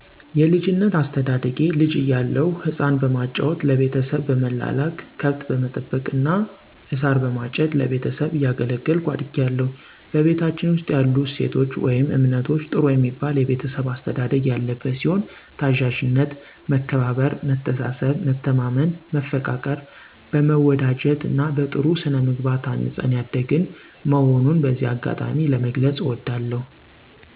የልጅነት አስተዳደጌ ልጅ እያለሁ ህፃን በማጫወት ለቤተሰብ በመላላክ ከብት በመጠበቅ እና እሳር በማጨድ ለቤተሰብ እያገለገልኩ አድጊያለሁ። በቤታችን ውስጥ ያሉ እሴቶች ወይም እምነቶች ጥሩ የሚባል የቤተሰብ አስተዳደግ ያለበት ሲሆን፦ ታዛዥነት፣ መከባበር፣ መተሳሰብ፣ መተማመን መፈቃቀር፣ በመወዳጀት እና በጥሩ ስነምግባር ታንፀን ያደግን መሆኑን በዚህ አጋጣሚ ለመግለፅ እወዳለሁ።